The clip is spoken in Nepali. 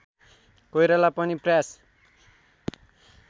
कोइराला पनि प्रयास